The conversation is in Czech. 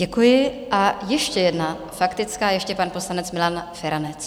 Děkuji a ještě jedna faktická, ještě pan poslanec Milan Feranec.